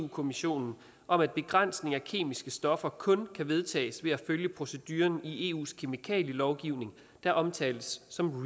kommissionen om at begrænsning af kemiske stoffer kun kan vedtages ved at følge proceduren i eus kemikalielovgivning der omtales som